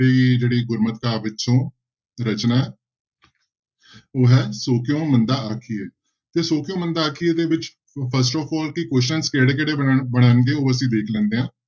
ਤੇ ਜਿਹੜੀ ਗੁਰਮਤਿ ਕਾਵਿ ਵਿੱਚੋਂ ਰਚਨਾ ਉਹ ਹੈ ਸੋ ਕਿਉਂ ਮੰਦਾ ਆਖੀਐ, ਤੇ ਸੌ ਕਿਉਂ ਮੰਦਾ ਆਖੀਐ ਦੇ ਵਿੱਚ first of all ਕਿ question ਕਿਹੜੇ ਕਿਹੜੇ ਬਣਨ ਬਣਨਗੇ ਉਹ ਅਸੀਂ ਦੇਖ ਲੈਂਦੇ ਹਾਂ।